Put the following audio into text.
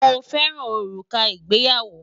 Mo fẹ orúkà ìgbéyàwó.